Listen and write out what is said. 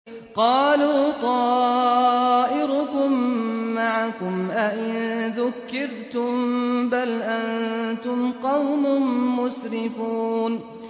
قَالُوا طَائِرُكُم مَّعَكُمْ ۚ أَئِن ذُكِّرْتُم ۚ بَلْ أَنتُمْ قَوْمٌ مُّسْرِفُونَ